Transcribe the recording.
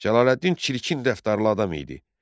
Cəlaləddin çirkin dəftarlı adam idi.